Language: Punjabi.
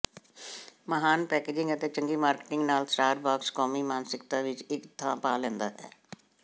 ਮਹਾਨ ਪੈਕੇਜ਼ਿੰਗ ਅਤੇ ਚੰਗੀ ਮਾਰਕੀਟਿੰਗ ਨਾਲ ਸਟਾਰਬਕਸ ਕੌਮੀ ਮਾਨਸਿਕਤਾ ਵਿੱਚ ਇੱਕ ਥਾਂ ਪਾ ਲੈਂਦਾ ਹੈ